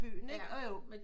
Byen ikke